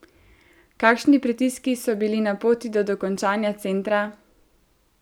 Kakšni pritiski so bili na poti do dokončanja centra?